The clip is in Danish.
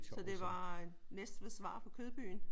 Så det var Næstveds svar på Kødbyen?